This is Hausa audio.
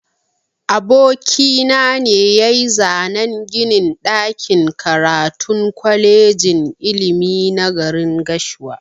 Aboki na ne yayi zanan ginin ɗakin karatun kwalejin ilimi na garin gashua.